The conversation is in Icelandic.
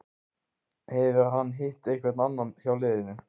Hefur hann hitt einhvern annan hjá liðinu?